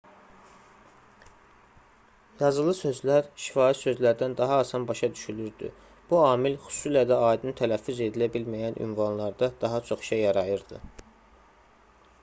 yazılı sözlər şifahi sözlərdən daha asan başa düşülürdü bu amil xüsusilə də aydın tələffüz edilə bilməyən ünvanlarda daha çox işə yarayırdı